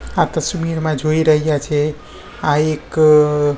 આ તસ્વીરમાં જોઈ રહ્યા છે આ એક--